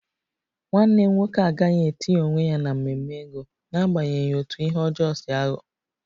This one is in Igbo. Nwanne m nwoke agaghị etinye onwe ya n'ememe ego n'agbanyeghị otú ihe ọjọọ si aghọ